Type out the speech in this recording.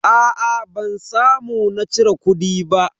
Aa ban samu na cire kudi ba.